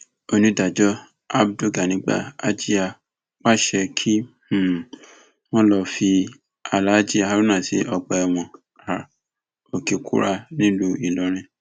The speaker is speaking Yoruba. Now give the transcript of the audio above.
onídàájọ abdulganigba ajiá pàṣẹ pé kí um wọn lọọ fi aláàjì haruna sí ọgbà ẹwọn um òkèkúrá nílùú ìlọrin